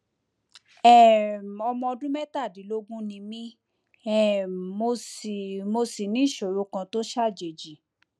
um ọmọ ọdún mẹtàdínlógún ni mí um mo sì mo sì ní ìṣòro kan tó ṣàjèjì